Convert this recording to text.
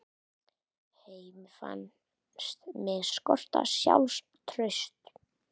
Henni fannst mig skorta sjálfstraust.